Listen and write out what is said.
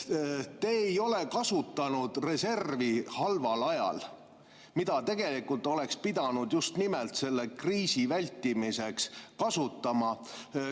Te ei ole kasutanud reservi halval ajal, mida tegelikult oleks pidanud just nimelt selle kriisi vältimiseks kasutama.